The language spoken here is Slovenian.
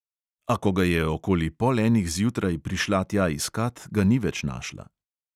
A ko ga je okoli pol enih zjutraj prišla tja iskat, ga ni več našla.